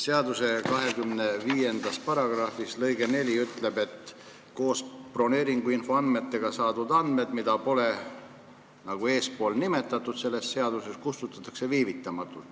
Seaduse § 252 lõige 4 ütleb, et koos broneeringuinfo andmetega saadud andmed, mida pole nimetatud selles seaduses eespool, kustutatakse viivitamata.